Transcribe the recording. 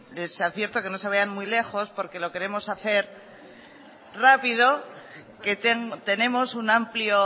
les advierto que no se vayan muy lejos porque lo queremos hacer rápido tenemos un amplio